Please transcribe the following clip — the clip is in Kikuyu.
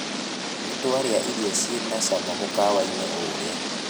Nĩtwaria irio ciĩna cama mũkawa-ini ũrĩa